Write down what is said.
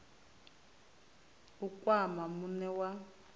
na u kwama muṋe wa